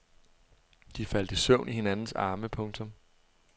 De faldt i søvn i hinandens arme. punktum